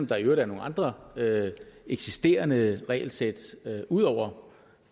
der i øvrigt er nogle andre eksisterende regelsæt ud over